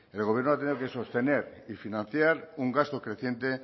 el gobierno ha tenido que sostener y financiar un gasto creciente